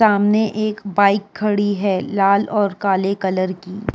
सामने एक बाइक खड़ी है लाल और काले कलर की।